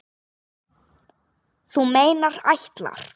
Þú meinar ætlar.